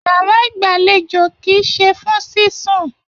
Yàrá igbalejo kìí ṣe fún sisùn.